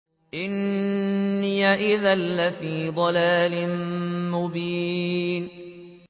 إِنِّي إِذًا لَّفِي ضَلَالٍ مُّبِينٍ